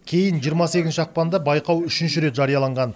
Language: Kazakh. кейін жиырма сегізінші ақпанда байқау үшінші рет жарияланған